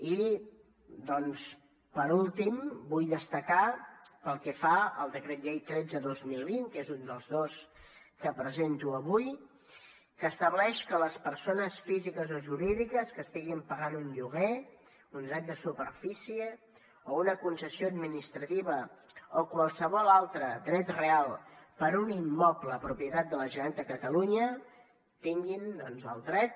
i doncs per últim vull destacar pel que fa al decret llei tretze dos mil vint que és un dels dos que presento avui que estableix que les persones físiques o jurídiques que estiguin pagant un lloguer un dret de superfície o una concessió administrativa o qualsevol altre dret real per un immoble propietat de la generalitat de catalunya tinguin el dret